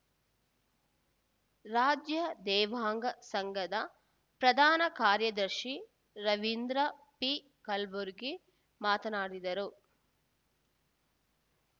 ರಾಜ್ಯ ದೇವಾಂಗ ಸಂಘದ ಪ್ರಧಾನ ಕಾರ್ಯದರ್ಶಿ ರವೀಂದ್ರ ಪಿ ಕಲಬುರ್ಗಿ ಮಾತನಾಡಿದರು